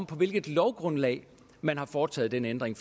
på hvilket lovgrundlag man har foretaget den ændring